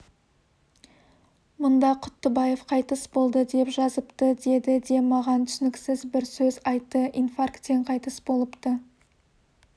мұнда құттыбаев қайтыс болды деп жазыпты деді де маған түсініксіз бір сөз айтты инфарктен қайтыс болыпты